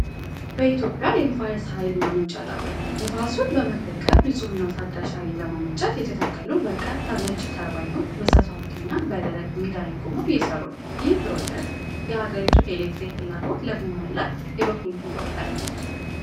በኢትዮጵያ የንፋስ ኃይል ማመንጫ ጣቢያ ነው። ነፋሱን በመጠቀም ንፁህና ታዳሽ ኃይል ለማመንጨት የተተከሉ በርካታ ነጭ ተርባይኖች በሰፋፊና በደረቅ ሜዳ ላይ ቆመው እየሰሩ ነው። ይህ ፕሮጀክት የአገሪቱን የኤሌክትሪክ ፍላጎት ለማሟላት የበኩሉን ይወጣል።